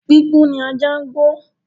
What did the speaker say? Gbígbó ni ajá ń gbó